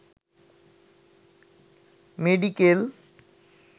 medical